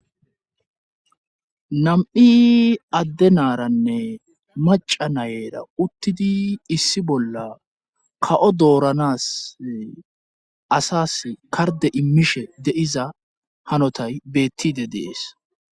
Nam'i adde naaranne maca nayera uttidi issi bolla ka'o dooranas asas karde immishe de'iza hanotay beettide dees.